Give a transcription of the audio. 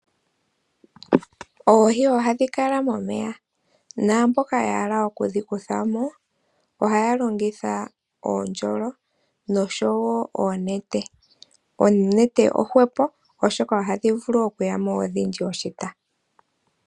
Oohii ohadhi kala momeya, naamboka yahala okudhi kuthamo ohaya longitha oondjolo nosho wo oonete, oonete oohwepo oshoka ohadhi vulu okuyamo odhindji oshita.